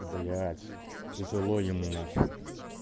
блять тяжело им нахуй